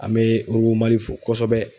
An bɛ Robotsmali fo kosɛbɛ